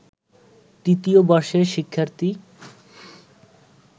তৃতীয় বর্ষের শিক্ষার্থী